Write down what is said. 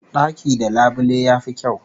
Daki da labule yafi kyau